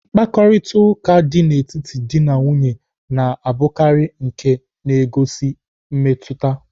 Mkparịtaụka dị n'etiti dị na nwunye na-abụkarị nke na-egosi mmetụta.